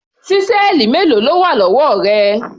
Ṣísẹ́ẹ̀lì mélòó ló wà lọ́wọ́ rẹ?